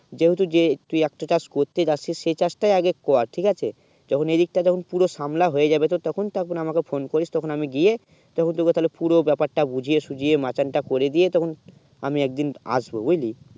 যেও তো যে তুই একটা কাজ করতে যাচ্ছি সেই কাজ তা আগে কর ঠিক আছে যখন এই দিক তা পুরো সম্ভালা হয়ে যাবে তো তখন তখন আমাকে phone করিস তখন আমি গিয়ে তা হলো তো পুরো ব্যাপার তা বুঝিয়ে সুঝিয়ে মাচান তা করে দিয়ে তখন আমি একদিন আসবো বুঝলি